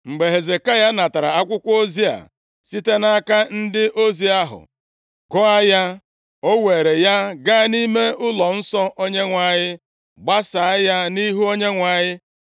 Mgbe Hezekaya natara akwụkwọ ozi a site nʼaka ndị ozi ahụ, gụọ ya, o weere ya gaa nʼime ụlọnsọ Onyenwe anyị, gbasaa ya nʼihu Onyenwe anyị.